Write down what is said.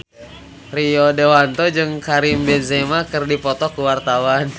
Rio Dewanto jeung Karim Benzema keur dipoto ku wartawan